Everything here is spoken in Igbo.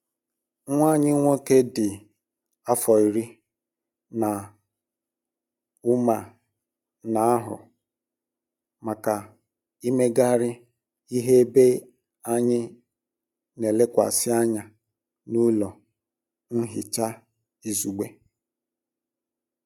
Nwa anyị um nwoke dị afọ iri um na ụma na-ahụ maka imegharị ihe ebe anyị n'elekwasị anya n'ọlụ nhicha izugbe.